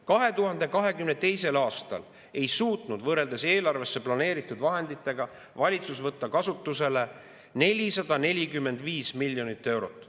2022. aastal ei suutnud valitsus eelarvesse planeeritud vahenditest kasutusele võtta 445 miljonit eurot.